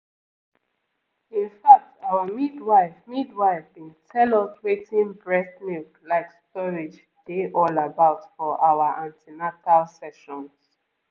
in fact our midwife midwife been tell us wetin breast milk like storage dey all about for our an ten atal sessions